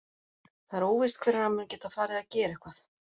Það er óvíst hvenær hann mun geta farið að gera eitthvað.